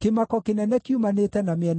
‘Kĩmako kĩnene kiumanĩte na mĩena yothe!’